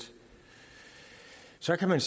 så kan man